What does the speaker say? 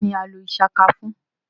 Kini a lo Ishaka fun?